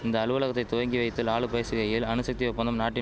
இந்த அலுவலகத்தை துவங்கி வைத்து லாலு பேசுகையில் அணுசக்தி ஒப்பந்தம் நாட்டின்